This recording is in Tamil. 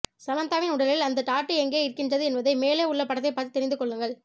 சமந்தாவின் உடலில் அந்த டாட்டூ எங்கே இருக்கின்றது என்பதை மேலே உள்ள படத்தை பார்த்து தெரிந்து கொள்ளுங்கள்